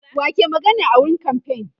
wa ke magana a wurin kamfain